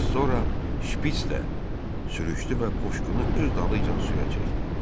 Asora şpistə sürüşdü və qoşqunu öz dalıyca suya çəkdi.